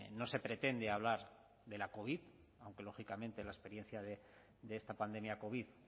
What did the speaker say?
no se pretende hablar de la covid aunque lógicamente la experiencia de esta pandemia covid